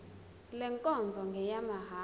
le nkonzo ngeyamahala